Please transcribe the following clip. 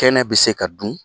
Kɛnɛ bi se ka dun